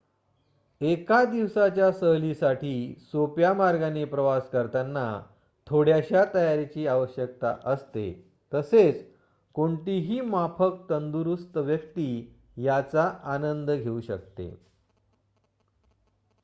एका दिवसाच्या सहलीसाठी सोप्या मार्गाने प्रवास करताना थोड्याशा तयारीची आवश्यक असते तसेच कोणतीही माफक तंदुरुस्त व्यक्ती याचा आनंद घेऊ शकते